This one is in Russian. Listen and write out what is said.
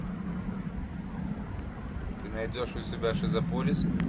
ты найдешь у себя шизополис